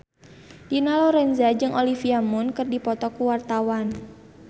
Dina Lorenza jeung Olivia Munn keur dipoto ku wartawan